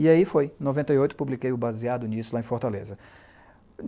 E aí foi, em noventa e oito, publiquei o Baseado Nisso, lá em Fortaleza.